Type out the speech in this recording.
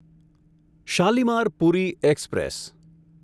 Shalimar Puri express